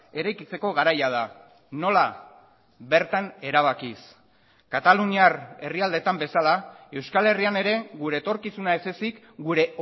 eraikitzeko garaia da nola bertan erabakiz kataluniar herrialdetan bezala euskal herrian ere gure etorkizuna ez ezik gure